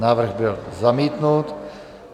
Návrh byl zamítnut.